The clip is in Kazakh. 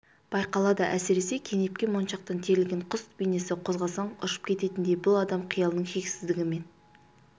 байқалады әсіресе кенепке моншақтан терілген құс бейнесі қозғасаң ұшып кететіндей бұл адам қиялының шексіздігі мен